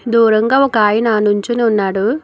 దూరంగా ఒక ఆయన నుంచుని ఉన్నాడు.